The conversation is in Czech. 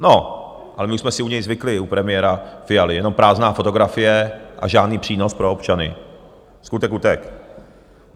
No, ale my už jsme si u něj zvykli, u premiéra Fialy, jenom prázdná fotografie a žádný přínos pro občany, skutek utek.